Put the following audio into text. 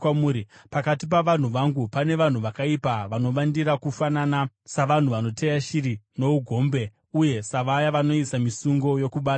“Pakati pavanhu vangu pane vanhu vakaipa vanovandira kufanana savanhu vanoteya shiri nougombe uye savaya vanoisa misungo yokubata vanhu.